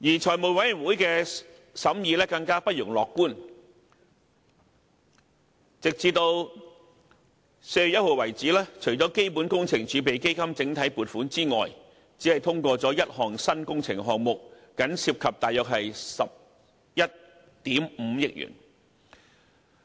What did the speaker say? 財委會的審議更不容樂觀，直至4月1日為止，除了基本工程儲備基金整體撥款之外，只通過了1項新工程項目，僅涉及約11億 5,000 萬元。